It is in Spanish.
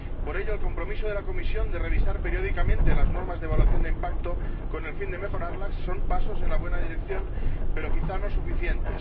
Por ello, el compromiso de la Comisión de revisar periódicamente las normas de evaluación de impacto, con el fin de mejorarlas, es un paso en la buena dirección, pero quizá no suficiente.